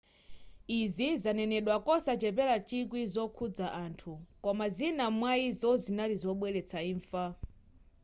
izi zanenedwa kosachepera chikwi zokhuza anthu koma zina mwayizo zinali zobweretsa imfa